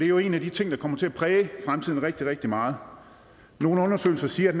jo en af de ting der kommer til at præge fremtiden rigtig rigtig meget nogle undersøgelser siger